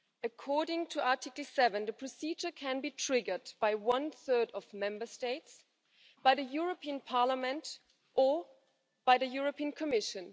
According to Article 7, the procedure can be triggered by one third of Member States, by the European Parliament, or by the European Commission.